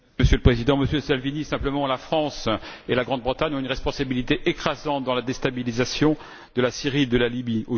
Monsieur le Président, Monsieur Salvini, je dirai simplement que la France et la Grande Bretagne ont une responsabilité écrasante dans la déstabilisation de la Syrie et de la Libye.